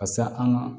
Ka se an ka